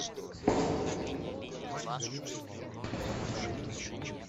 у тебя есть в запасе под куполом